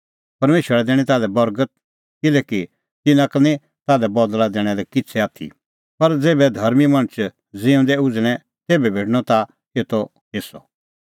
परमेशरा दैणीं ताल्है बर्गत किल्हैकि तिन्नां का निं ताल्है बदल़ै लणा लै किछ़ै आथी पर ज़ेभै धर्मीं मणछ ज़िऊई उझ़णै तेभै भेटणअ ताह एतो हेस्सअ